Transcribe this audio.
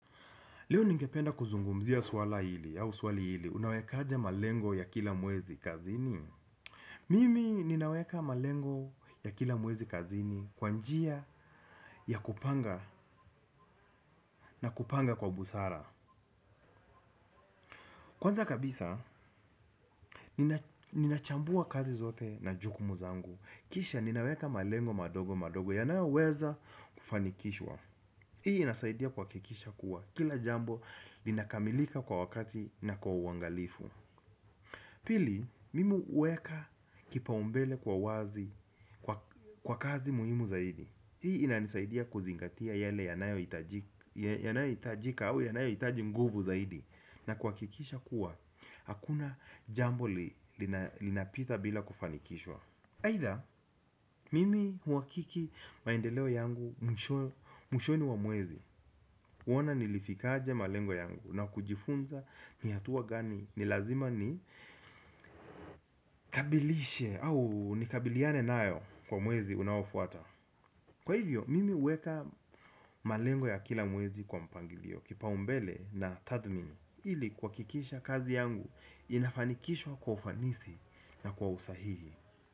Leo ningependa kuzungumzia swala hili au swali hili. Unawekaje malengo ya kila mwezi kazini? Mimi ninaweka malengo ya kila mwezi kazini kwa njia ya kupanga na kupanga kwa busara. Kwanza kabisa, nina chambua kazi zote na jukumu zangu. Kisha ninaweka malengo madogo madogo yanayoweza kufanikishwa. Hii inasaidia kuhakikisha kuwa. Kila jambo linakamilika kwa wakati na kwa uangalifu. Pili, mimi huweka kipaumbele kwa wazi, kwa kazi muhimu zaidi. Hii inanisaidia kuzingatia yale yanayohitajika au yanayohitaji nguvu zaidi. Na kuhakikisha kuwa, hakuna jambo linapita bila kufanikishwa. Aidha, mimi huhakiki maendeleo yangu mwishoni mwa mwezi. Kuona nilifikiaje malengo yangu na kujifunza ni hatua gani ni lazima ni. Kabilishe au nikabiliane nayo kwa mwezi unaofuata. Kwa hivyo mimi huweka malengo ya kila mwezi kwa mpangilio kipaumbele na tathmini ili kuhakikisha kazi yangu inafanikishwa kwa ufanisi na kwa usahihi.